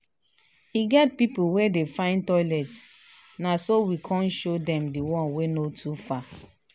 e get pipu wey dey find toilet na so we kan show dem the one wey no too far